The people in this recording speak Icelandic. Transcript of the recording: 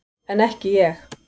En ekki ég.